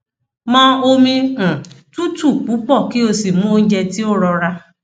mọ omi um tutu pupọ ki o si mu ounjẹ ti o rọra